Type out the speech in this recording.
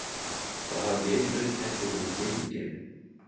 Hvað hafa geimferðir kennt okkur um himingeiminn?